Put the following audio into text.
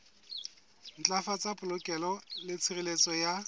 ntlafatsa polokeho le tshireletso ya